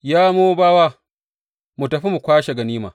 Ya Mowabawa, mu tafi mu kwashi ganima!